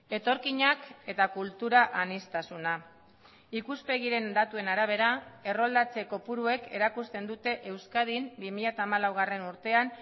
etorkinak eta kultura aniztasuna ikuspegiren datuen arabera erroldatze kopuruek erakusten dute euskadin bi mila hamalau urtean